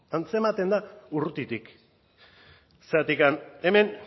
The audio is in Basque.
antzematen da urrutitik zergatik hemen